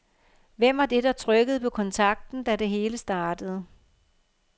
Hvem var det, der trykkede på kontakten, da det hele startede.